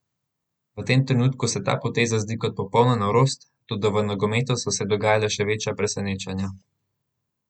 V tem trenutku se ta poteza zdi kot popolna norost, toda v nogometu so se dogajala že večja presenečenja.